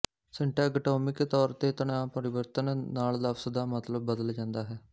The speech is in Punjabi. ਸਿੰਟੈਗਟੋਮਿਕ ਤੌਰ ਤੇ ਤਣਾਅਪਰਿਵਰਤਨ ਨਾਲ ਲਫ਼ਜ਼ ਦਾ ਮਤਲਬ ਬਦਲ ਜਾਂਦਾ ਹੈ